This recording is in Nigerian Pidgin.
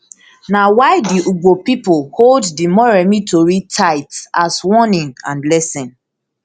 na why di ugbo pipo hold di moremi tori tight as warning and lesson